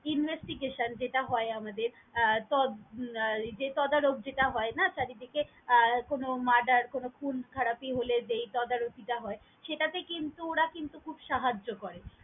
Investication যেটা হয় আমাদের আহ তদ আহ যে তদারক যেটা হয় না চারিদিকে আহ কোনও murder কোনও খুন খারাবি হলে যেই তদা রকি টা হয় সেটা তে কিন্তু ওরা কিন্তু খুব সাহায্য করে।